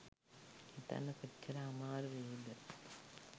හිතන්න කොච්ච්ර අමාරු වෙයිද